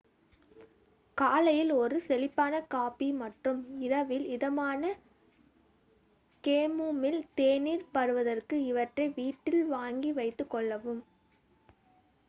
காலையில் ஒரு செழிப்பான காபி மற்றும் இரவில் இதமான கேமோமில் தேநீர் பருகுவதற்கு இவற்றை வீட்டில் வாங்கி வைத்துகொள்ளவும்